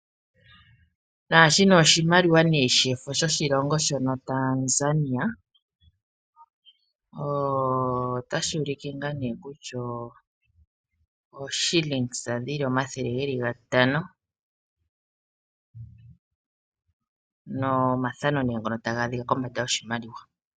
Nashino oshimaliwa nee shefo shoshi longo Tanzania otashi uleke ngaa nee kutya ooshilingisa dhili omathele geli gatano nomathano neengono otaga adhikwa kombanda yoshimaliwa.